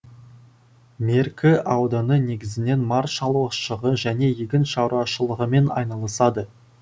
меркі ауданы негізінен мар шалушылығы және егін шаруашылығымен айналысады